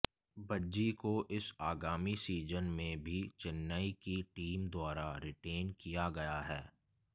भज्जी को इस आगामी सीजन में भी चेन्नई की टीम द्वारा रिटेन किया गया है